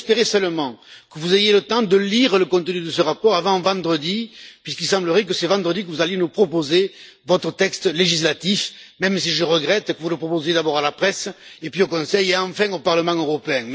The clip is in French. J'ose espérer seulement que vous aurez le temps de lire le contenu de ce rapport avant vendredi, puisqu'il semblerait que c'est vendredi que vous allez nous proposer votre texte législatif, même si je regrette que vous le proposiez d'abord à la presse, ensuite au Conseil et, enfin, au Parlement européen.